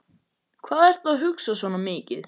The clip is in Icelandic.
Hvað ertu að hugsa svona mikið?